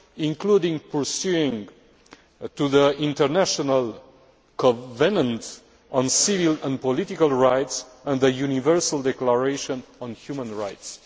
including in relation to the International Covenant on Civil and Political Rights and the Universal Declaration on Human Rights.